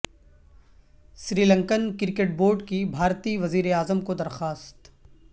سری Lankan cricket board کی بھارتی وزیر اعظم کو درخواست